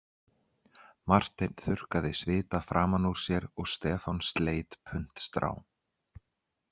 Marteinn þurrkaði svita framan úr sér og Stefán sleit puntstrá